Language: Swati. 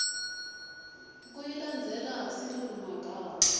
kuyilandzela silulumagama